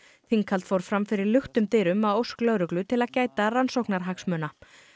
þinghald fór fram fyrir luktum dyrum að ósk lögreglu til að gæta rannsóknarhagsmuna